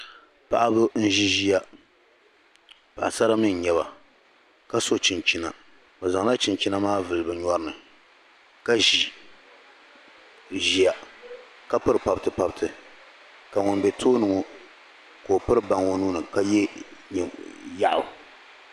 paɣiba n-ʒi ʒiya paɣisara mi n-nyɛ ba ka so chinchina bɛ zaŋla chinchina maa vuli bɛ nyɔri ni ka ʒi ʒiya ka piri pabitipabiti ka ŋun be tooni ŋɔ ka o piri baŋa o nuu ni ka ye yaɣu